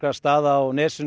staða á nesinu